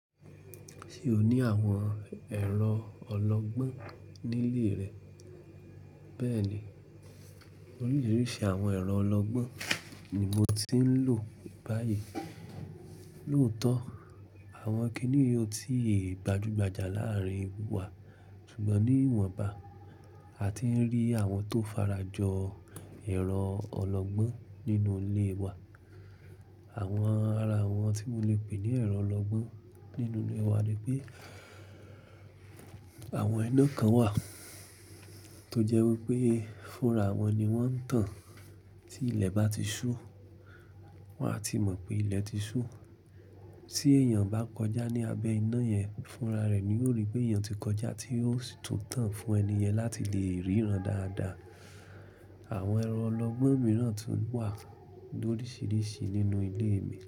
Ṣé o ní àwọn ẹ̀rọ ọlọ́gbọ́n nílé rẹ? Bẹ́ẹ̀ni, oríṣiríṣi àwọn ẹ̀rọ ọlọ́gbọ́n ni mo ti ń lò báyìí. Lóòótọ́ àwọn kìnì yii ò ti gbajúgbajà láàárin wa ṣùgbọ́n ní ìwọ̀nba a ti n rí àwọn tó farajọ ẹ̀rọ ọlọ́gbọ́n nínú ilé wa. Àwọn ara wọn tí mo lè pè ní ẹ̀rọ ọlọ́gbọ́n nínú ilé wa ni pé àwọn iná kan wà tó jẹ́ wípé fúnra wọn ni wọ́n ń tàn tí ilẹ̀ bá ti ṣú wọ́n a ti mọ̀ pé ilẹ̀ ti ṣú. Tí èèyàn bá kọjá ní abẹ́ iná yẹn, fúnra rẹ̀ ni yóò rí pé èèyàn ti kọjá tí yóò tún tàn fún ẹni yẹn láti lè ríran dáadáa. Àwọn ẹ̀rọ ọlọ́gbọ́n mìíràn tún wà lórisìíríṣìí nínú ilé mi.